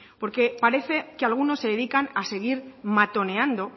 porque parece que algunos se dedican a seguir matoneando